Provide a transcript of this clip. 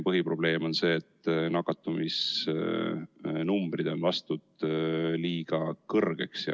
Põhiprobleem on see, et nakatumisnumbrid on lastud liiga kõrgeks.